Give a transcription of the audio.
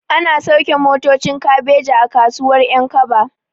Ana sauke motocin kabeji a kasuwar ƴankaba